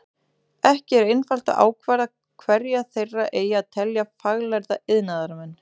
Ekki er einfalt að ákvarða hverja þeirra eigi að telja faglærða iðnaðarmenn.